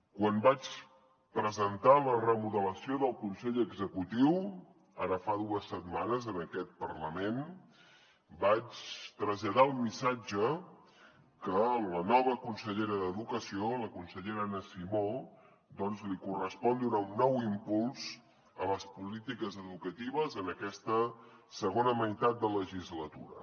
quan vaig presentar la remodelació del consell executiu ara fa dues setmanes en aquest parlament vaig traslladar el missatge que a la nova consellera d’educació la consellera anna simó doncs li correspon donar un nou impuls a les polítiques educatives en aquesta segona meitat de legislatura